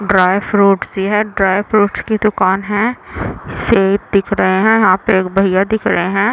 Dry fruits सी है। Dry fruits की दूकान है। सेब दिख रहे है। यहाँ पे एक भैया दिख रहे है।